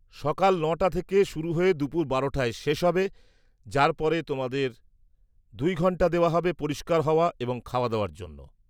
-সকাল ৯ টা থেকে শুরু হয়ে দুপুর ১২ টায় শেষ হবে, যার পরে তোমাদের দুই ঘণ্টা দেওয়া হবে পরিষ্কার হওয়া এবং খাওয়াদাওয়ার জন্য।